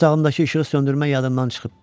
Otağımdakı işığı söndürmək yadımdan çıxıb.